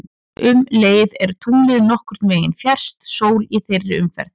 Um leið er tunglið nokkurn veginn fjærst sól í þeirri umferð.